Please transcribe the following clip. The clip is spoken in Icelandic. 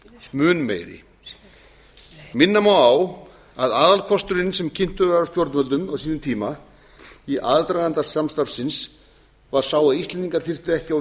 mun meiri minna má á að aðalkosturinn sem kynntur var af stjórnvöldum á sínum tíma í aðdraganda samstarfsins var sá að íslendingar þyrftu ekki á